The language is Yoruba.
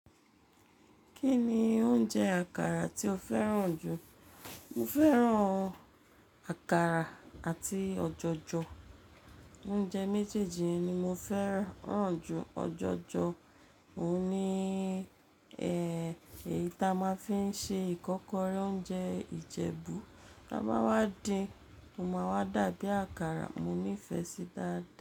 Kí ni oúnjẹ àkàrà tí ó fẹ́ràn jù? Mo fẹ́ràn àkàrà àti ọjọjọ. Oúnjẹ méjèèjì ni mo fẹ́ràn jù. Ọjọjọ òun ni, èyí ta máa ń fi ṣe ìkọ́kọrẹ́ oúnjẹ Ìjẹ̀bú. Tá bá wá din, ó máa wá dàbí àkàrà. Mo nífẹ̀ẹ́ sí dà.